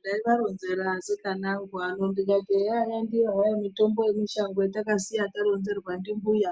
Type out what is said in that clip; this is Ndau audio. Ndaivaronzera asikana angu ano kuti eya ndiyo hayo mitombo yemushango yetaiya karonzerwa ndimbuya